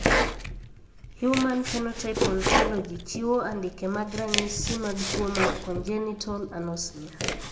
Human Phenotype Ontology chiwo andike mag ranyisi mag tuo mar congenital anosmia.